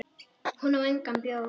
Hún á engan bjór.